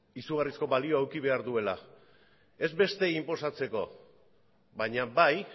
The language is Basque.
izugarrizko balioa eduki behar duela ez besteei inposatzeko baina bai